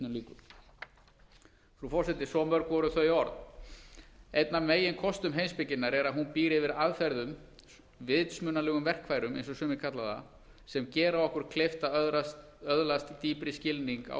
frú forseti svo mörg voru þau orð einn af meginkostum heimspekinnar er að hún býr yfir aðferðum vitsmunalegum verkfærum eins og sumir kalla það sem gera okkur kleift að öðlast dýpri skilning á